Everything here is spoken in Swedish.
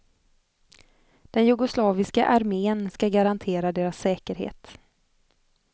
Den jugoslaviska armén ska garantera deras säkerhet.